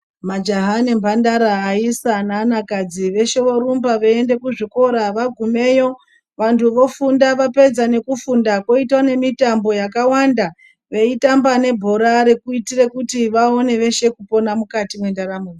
Majaha nemhandara, aisa neanakadzi veshe vorumba veienda kuzvikora vagumeyo vantu vofunda vapedza nekufunda voita nemitambo yakawanda veitamba nebhora rekuitire kuti vaone veshe kupona mukati mendaramo.